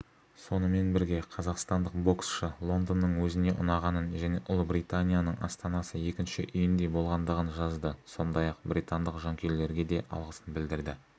сонымен бірге қазақстандық боксшы лондонның өзіне ұнағанын және ұлыбританияның астанасы екінші үйіндей болғандығын жазды сондай-ақ британдық жанкүйерлерге де алғысын білдірді